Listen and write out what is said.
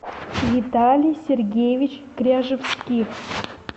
виталий сергеевич кряжевских